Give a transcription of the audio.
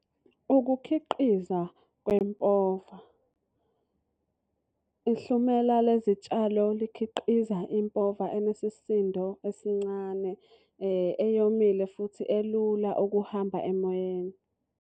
Ukukhiqiza kwempova. Ihlumela lezi tshalo likhiqiza impova enesisindo esincane eyomile futhi elula ukuhamba emoyeni.